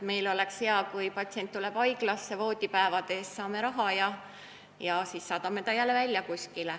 Meil oleks hea, kui patsient tuleks haiglasse, me saame voodipäevade eest raha ja siis saadame ta jälle välja.